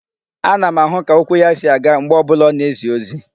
Ana m ahụ ka okwu ya si aga mgbe ọ bụla ọ na-ezi ozi.